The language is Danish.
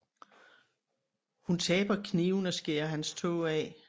Hun taber kniven og skærer hans tå af